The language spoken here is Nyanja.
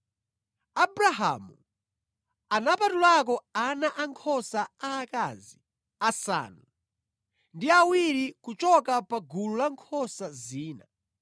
Abrahamu anapatulako ana ankhosa aakazi asanu ndi awiri kuchoka pagulu la nkhosa zina,